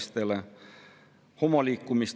Isegi nüüd, hommikul,.